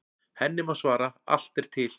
Henni má svara: Allt er til.